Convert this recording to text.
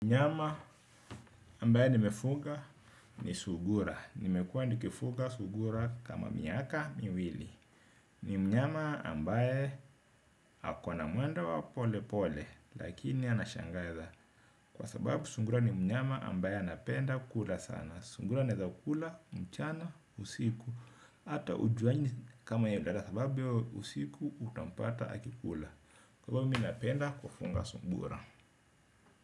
Mnyama ambaye nimefuga ni sungura. Nimekuwa nikifuga sungura kama miaka miwili. Ni mnyama ambaye ako na mwendo wa pole pole. Lakini anashangaza. Kwa sababu sungura ni mnyama ambaye anapenda kula sana. Sungura anaweza kula, mchana, usiku. Hata hujuangi kama yeye sababu hiyo usiku utampata akikula. Kwa sababu mi napenda kufunga sungura.